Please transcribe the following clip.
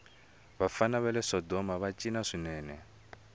vafana vale sodomava cina swinene